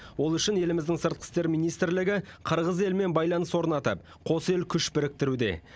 ол үшін еліміздің сыртқы істер министрлігі қырғыз елімен байланыс орнатып қос ел күш біріктіруде